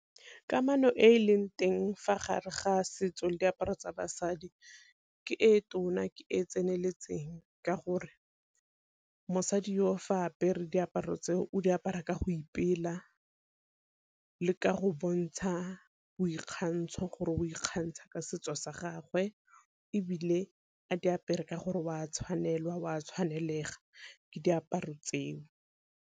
Kamano e e leng teng fa gare ga setso le diaparo tsa basadi ke e tona ke e e tseneletseng, ka gore mosadi yo o fa apere diaparo tseo o di apara ka go ipela le ka go bontsha boikgantsho gore o ikgantsha ka setso sa gagwe. Ebile a di apere ka gore o a tshwanelwa o a tshwanelega ke diaparo tseo.